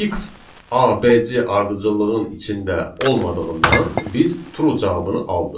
X ABC ardıcıllığın içində olmadığından biz true cavabını aldıq.